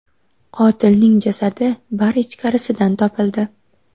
Qotilning jasadi bar ichkarisidan topildi.